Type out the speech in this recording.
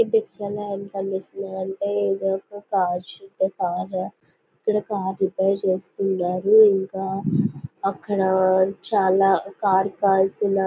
ఈ పిక్చర్ లో ఏమ్ కనిపిస్తోంది అంటే ఇది ఒక కార్ సూపర్ కార్ ఇక్కడ కార్ రిపేర్ చేస్తున్నారు ఇంక అక్కడ చాలా కార్ కి కావలిసినా